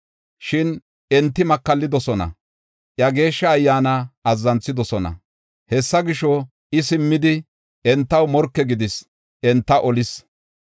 Shin enti makallidosona; iya Geeshsha Ayyaana azzanthidosona. Hessa gisho, I simmidi, entaw morke gidis; enta olis.